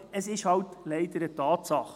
Es ist halt leider eine Tatsache.